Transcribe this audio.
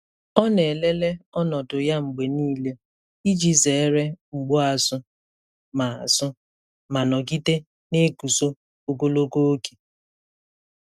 Ọ na-elele ọnọdụ ya mgbe niile iji zere mgbu azụ ma azụ ma nọgide na-eguzo ogologo oge.